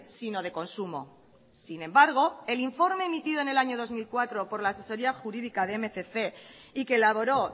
sino de consumo sin embargo el informe emitido en el año dos mil cuatro por la asesoría jurídica de mil doscientos y que elaboró